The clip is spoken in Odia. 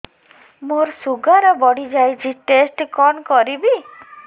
ମୋର ଶୁଗାର ବଢିଯାଇଛି ଟେଷ୍ଟ କଣ କରିବି